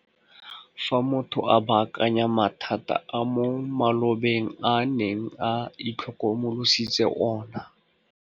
Fa motho a baakanya mathata a mo malobeng a neng a itlhokomolositse ona.